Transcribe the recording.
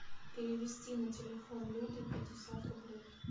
перевести на телефон люды пятьдесят рублей